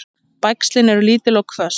Bægslin eru lítil og hvöss.